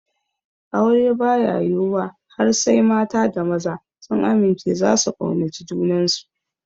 Aure baya yiwuwa har sai mata da maza sun amince zasu kaunaci junansu